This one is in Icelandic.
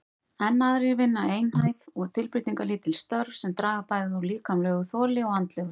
Enn aðrir vinna einhæf og tilbreytingarlítil störf sem draga bæði úr líkamlegu þoli og andlegu.